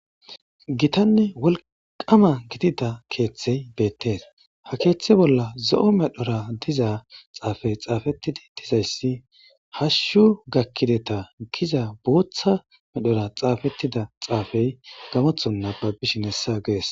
Gitanne wolqama gidida keeththey beettees ha keeththe bolla zo7o medhora diza xaafey xaafettidi dizayssi hashshu gakkideta giza booththa medhora xaafettida xaafey gamothon naba bishin hessa gees.